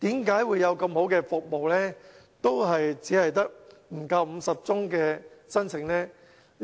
為何有如此好的服務，仍只得不足50宗申請呢？